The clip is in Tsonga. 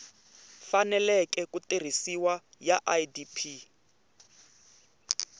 faneleke ku tirhisiwa ya idp